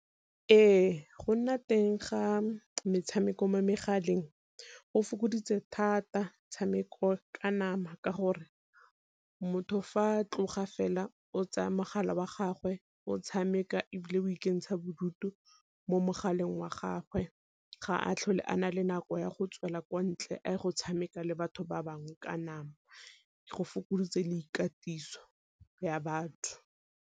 Ee, go nna teng ga metshameko mo megaleng go fokoditse thata tshameka ka nama, ka gore motho fa tloga fela o tsaya mogala wa gagwe o tshameka, ebile go ikentsha bodutu mo mogaleng wa gagwe. Ga a tlhole a na le nako ya go tswela ko ntle a go tshameka le batho ba bangwe ka nama, go fokoditse le ikatiso ya batho.